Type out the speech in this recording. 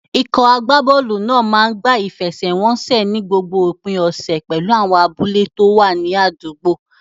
Ikọ̀ agbábọ́ọ̀lù náà máa ń gbá ìfẹsẹ̀wọnsẹ̀ ní gbogbo òpin ọ̀sẹ̀ pẹ̀lú àwọn abúlé tó wà ní àdúgbò.